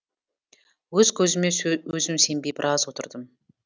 өз көзіме өзім сенбей біраз отырдым